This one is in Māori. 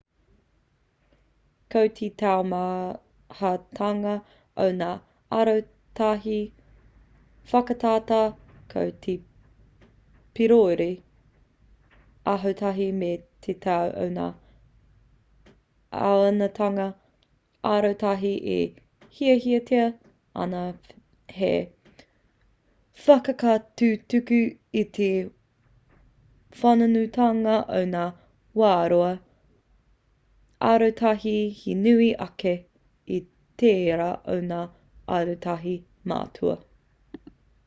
ko te taumahatanga o ngā arotahi whakatata ko te pīroiroi arotahi me te tau o ngā āhuatanga arotahi e hiahiatia ana hei whakatutuki i te whānuitanga o ngā whāroa arotahi he nui ake i tērā o ngā arotahi matua